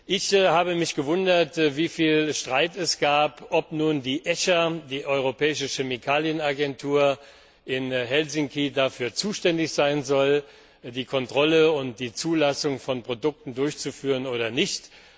Ich habe mich gewundert, wieviel Streit es gab, ob nun die ECHA, die Europäische Chemikalienagentur in Helsinki, dafür zuständig sein soll, die Kontrolle und die Zulassung von Produkten durchzuführen oder nicht.